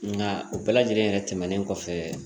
Nka o bɛɛ lajɛlen yɛrɛ tɛmɛnen kɔfɛ